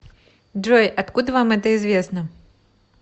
джой откуда вам это известно